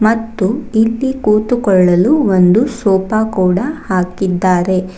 ಮತ್ತು ಇಲ್ಲಿ ಕೂತುಕೊಳ್ಳಲು ಒಂದು ಸೋಪ ಕೂಡ ಹಾಕಿದ್ದಾರೆ.